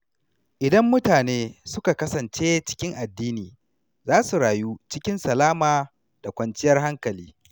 Idan mutane suka kasance cikin addini, za su rayu cikin salama da kwanciyar hankali.